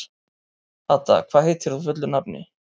Hadda, hvað heitir þú fullu nafni?